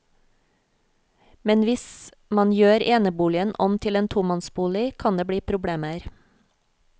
Men hvis man gjør eneboligen om til en tomannsbolig, kan det bli problemer.